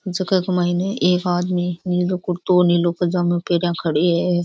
ई जगह के माइन एक आदमी नीलो कुर्तो निलो पजामो पेरा खड़ो है।